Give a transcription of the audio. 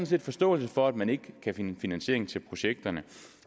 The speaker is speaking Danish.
set forståelse for at man ikke kan finde finansiering til projekterne